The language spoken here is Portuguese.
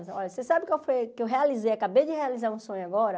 Olha, você sabe qual foi que eu realizei, acabei de realizar um sonho agora?